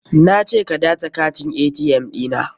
Na ce ka datse katin ATM ɗi na.